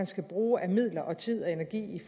skal bruges af midler og tid og energi